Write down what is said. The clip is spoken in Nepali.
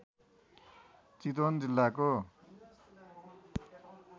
चितवन जिल्लाको